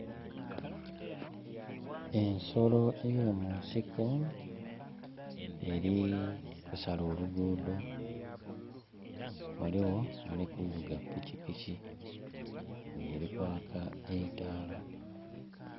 Ensolo eyo munsiko eri kusala olugudho ghaligho ali kuvuga pikipiki nga eri kwaka eitala.